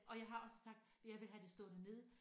Og jeg har også sagt jeg vil have det stående nede